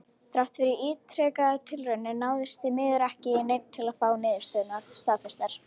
Þrátt fyrir ítrekaðar tilraunir náðist því miður ekki í neinn til að fá niðurstöðurnar staðfestar.